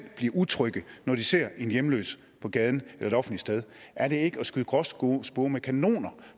bliver utrygge når de ser en hjemløs på gaden eller et offentligt sted er det ikke at skyde gråspurve med kanoner